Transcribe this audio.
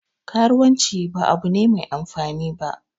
Karuwanci ba abu ne Mai amfani ba